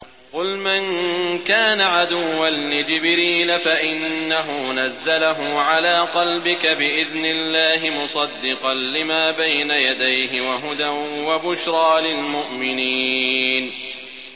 قُلْ مَن كَانَ عَدُوًّا لِّجِبْرِيلَ فَإِنَّهُ نَزَّلَهُ عَلَىٰ قَلْبِكَ بِإِذْنِ اللَّهِ مُصَدِّقًا لِّمَا بَيْنَ يَدَيْهِ وَهُدًى وَبُشْرَىٰ لِلْمُؤْمِنِينَ